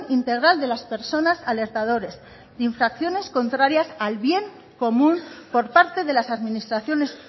integral de las personas alertadores de infracciones contrarias al bien común por parte de las administraciones